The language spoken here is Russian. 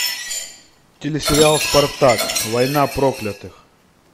телесериал спартак война проклятых